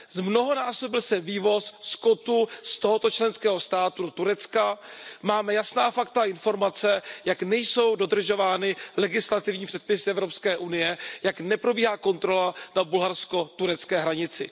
Zmnohonásobil se vývoz skotu z tohoto členského státu do Turecka, máme jasná fakta a informace, jak nejsou dodržovány legislativní předpisy EU, jak neprobíhá kontrola na bulharsko turecké hranici.